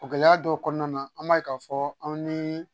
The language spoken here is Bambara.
O gɛlɛya dɔw kɔnɔna na an b'a ye k'a fɔ anw ni